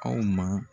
Aw ma